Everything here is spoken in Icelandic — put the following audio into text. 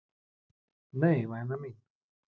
Nei, væna mín.